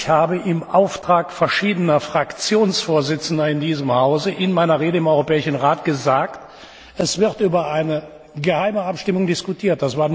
Ich habe im Auftrag verschiedener Fraktionsvorsitzender in diesem Hause in meiner Rede im Europäischen Rat gesagt Es wird über eine geheime Abstimmung diskutiert.